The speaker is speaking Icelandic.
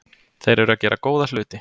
Þeir eru að gera góða hluti.